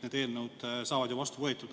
Need eelnõud saavad ju vastu võetud.